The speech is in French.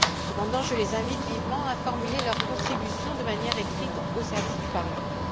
Cependant, je les invite vivement à formuler leur contribution de manière écrite aux services du Parlement.